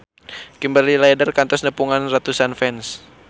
Kimberly Ryder kantos nepungan ratusan fans